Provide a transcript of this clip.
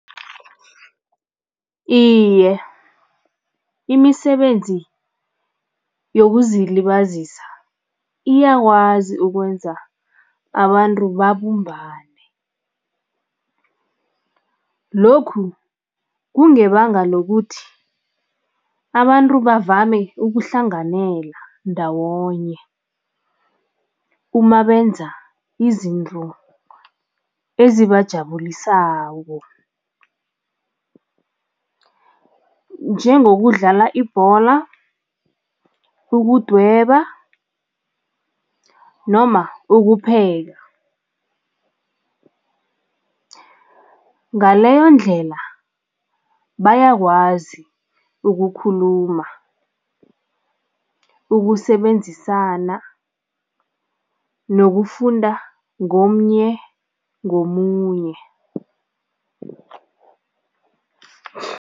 Iye, imisebenzi yokuzilibazisa iyakwazi ukwenza abantu babumbane. Lokhu kungebanga lokuthi abantu bavame ukuhlanganyela ndawonye uma benza izinto ezibajabulisako njengokudlala ibhola, ukudweba noma ukupheka. Ngaleyondlela bayakwazi ukukhuluma, ukusebenzisana nokufunda ngomnye ngomunye.